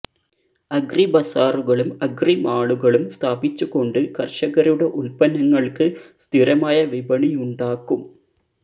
agri ബസ്സാറുകളും agri മാളുകളും സ്ഥാപിച്ചുകൊണ്ട് കര്ഷകരുടെ ഉത്പന്നങ്ങള്ക്ക് സ്ഥിരമായ വിപണിയുണ്ടാക്കും